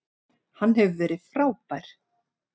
Hann hefur verið frábær.